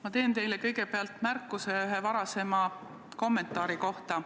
Ma teen teile kõigepealt märkuse ühe varasema kommentaari kohta.